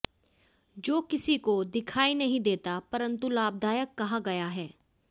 जो किसी को दिखाई नहीं देता परंतु लाभदायक कहा गया है